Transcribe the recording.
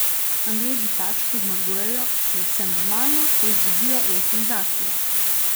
Angleži pač, ko zmagujejo, je vse normalno, ko izgubijo, je senzacija!